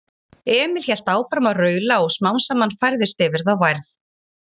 Emil hélt áfram að raula og smám saman færðist yfir þá værð.